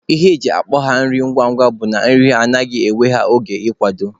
Ihe eji akpọ ya nri ngwa ngwa bụ na nri ha anaghị ewe ha oge ị kwado.